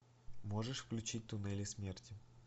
можешь включить туннели смерти